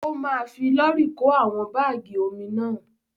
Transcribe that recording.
Ó ma fi lọ́rì kó àwọn bágì omi náà.